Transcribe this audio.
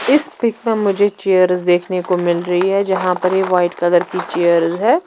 इस पिक में मुझे चेयर्स देखने को मिल रही है जहां पर ये वाइट कलर की चेयर्स है।